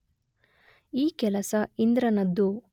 ಈ ಕೆಲಸ ಇಂದ್ರನದ್ದು